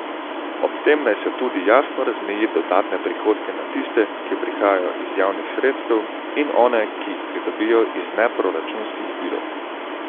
Ob tem naj se tudi jasno razmeji dodatne prihodke na tiste, ki prihajajo iz javnih sredstev, in one, ki jih pridobijo iz neproračunskih virov.